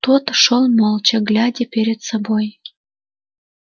тот шёл молча глядя перед собой